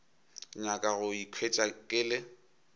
nyaka go ikhwetša ke le